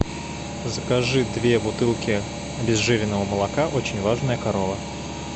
закажи две бутылки обезжиренного молока очень важная корова